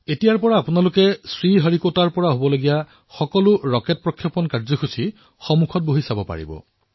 এতিয়া আপোনালোকে শ্ৰীহৰিকোটাৰ পৰা উৎক্ষেপিত হোৱা ৰকেট উৎক্ষেপণ সন্মুখৰ পৰা বহি চাব পাৰিব